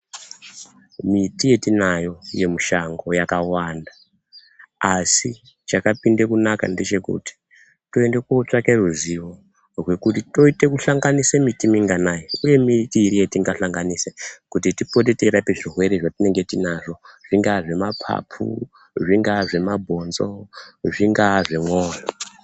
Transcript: Miti yetinayo yemushango yakawanda asi chakapinde kunaka ngechekuti toende kotsvaka ruzivo rekuti toite kuhlanganise miti minganai uye miti iri yatingahlanganisa kuti tipore teirapa zvirwere zvatinenge tinazvo zvinga zvemapapu, zvinga zvemabhonzo